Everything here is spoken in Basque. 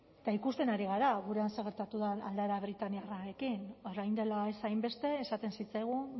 eta ikusten ari gara gurean zer gertatu den aldaera britainiarrarekin orain dela ez hainbeste esaten zitzaigun